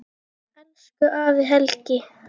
Elsku afi Helgi.